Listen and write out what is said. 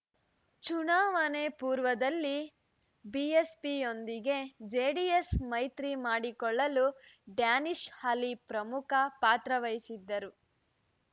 ಚುನಾವಣೆ ಪೂರ್ವದಲ್ಲಿ ಬಿಎಸ್‌ಪಿಯೊಂದಿಗೆ ಜೆಡಿಎಸ್‌ ಮೈತ್ರಿ ಮಾಡಿಕೊಳ್ಳಲು ಡ್ಯಾನಿಶ್‌ ಅಲಿ ಪ್ರಮುಖ ಪಾತ್ರವಹಿಸಿದ್ದರು